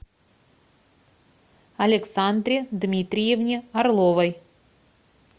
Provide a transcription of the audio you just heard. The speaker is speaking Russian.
александре дмитриевне орловой